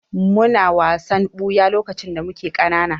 Muna wasan ɓuya lokacin da muke ƙanana.